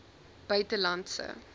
buitelandse